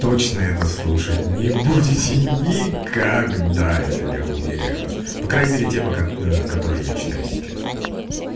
точно это слушать не будете никогда это я уверяю вас по крайней мере те которые я читаю сейчас